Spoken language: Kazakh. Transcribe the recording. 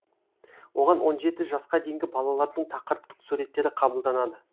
оған он жеті жасқа дейінгі балалардың тақырыптық суреттері қабылданады